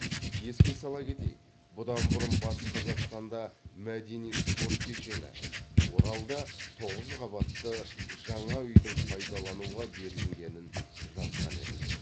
еске сала кетейік бұдан бұрын батыс қазақстанда мәдени спорт кешені оралда тоғыз қабатты жаңа үйдің пайдалануға берілгенін жазған едік